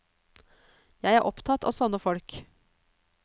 Jeg er opptatt av sånne folk.